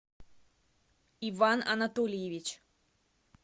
иван анатольевич